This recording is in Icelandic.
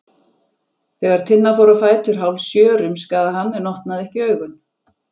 Þegar Tinna fór á fætur hálfsjö rumskaði hann en opnaði ekki augun.